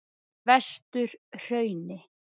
Vesturhrauni